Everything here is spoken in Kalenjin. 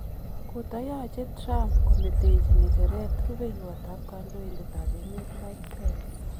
Kotayache Trump kometechi ngecheret rubeywot ab kandoindet ab emet Mike pence.